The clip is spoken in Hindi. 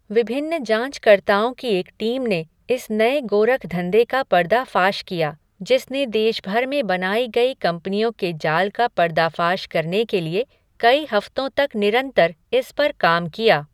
विभिन्न जाँचकर्ताओं की एक टीम ने इस नए गोरखधंधे का पर्दाफाश किया, जिसने देश भर में बनाई गई कंपनियों के जाल का पर्दाफ़ाश करने के लिए कई हफ़्तों तक निरंतर इस पर काम किया।